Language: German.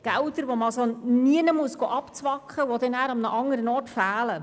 Gelder, die man also nirgendwo abzwacken muss und die dann nicht an einem anderen Ort fehlen.